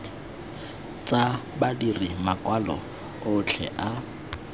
tsa badiri makwalo otlhe a